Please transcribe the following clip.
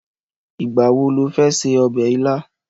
Ìgbà wo lo fẹ́ ṣe ọbẹ̀ ilá?